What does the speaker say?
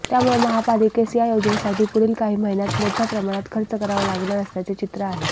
त्यामुळे महापालिकेस या योजनेसाठी पुढील काही महिन्यांत मोठ्या प्रमाणात खर्च करावा लागणार असल्याचे चित्र आहे